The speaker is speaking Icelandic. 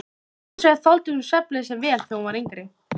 Hins vegar þoldi hún svefnleysi vel þegar hún var yngri.